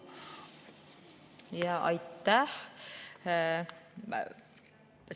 Aitäh!